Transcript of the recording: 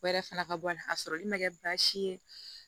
O yɛrɛ fana ka bɔ a la ka sɔrɔli ma kɛ baasi ye